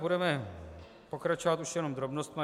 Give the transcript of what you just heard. Budeme pokračovat už jenom drobnostmi.